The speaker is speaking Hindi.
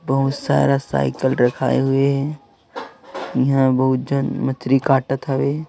बहोत सारा साइकिल रखाऐ हुए हैं यहां भोजन मछली काटत ।